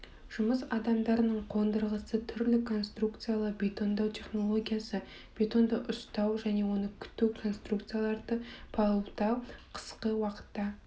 жұмыс адымдарының қондырғысы түрлі конструкциялы бетондау технологиясы бетонды ұстау және оны күту конструкцияларды палубтау қысқы уақытта